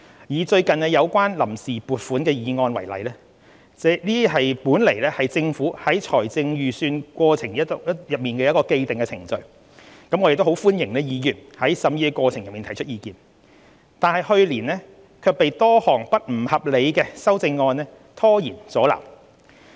以最近有關臨時撥款的議案為例，這本來是政府在財政預算過程中的既定程序，我們歡迎議員在審議過程中提出意見，但去年卻被多項不合理的修正案拖延阻撓。